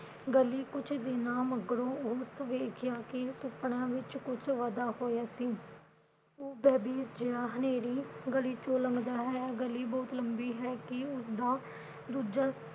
ਗਲੀ ਕੁਛ ਦਿਨਾਂ ਮਗਰੋਂ ਉਸ ਵੇਖਿਆ ਕਿ ਸੁਪਨਾ ਵਿਚ ਕੁਛ ਵਾਧਾ ਹੋਇਆ ਸੀ। ਉਹ ਜਾੰ ਹਨੇਰੀ ਗਲੀ ਵਿਚੋਂ ਲੰਘਦਾ ਹੈ। ਗਲੀ ਬਹੁਤ ਲੰਬੀ ਹੈ ਕਿ ਉਸਦਾ ਦੂਜਾ